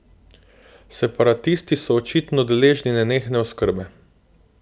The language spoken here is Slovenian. Separatisti so očitno deležni nenehne oskrbe.